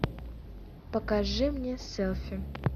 покажи мне селфи